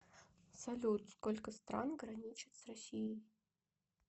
салют сколько стран граничит с россией